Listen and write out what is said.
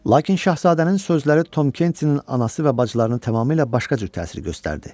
Lakin şahzadənin sözləri Tom Kentinin anası və bacılarını tamamilə başqa cür təsir göstərdi.